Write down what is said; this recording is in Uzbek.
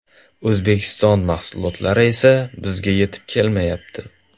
O‘zbekiston mahsulotlari esa bizga yetib kelmayapti.